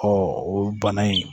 o bana in